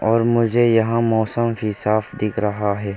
और मुझे यहाँ मौसम भी साफ दिख रहा है।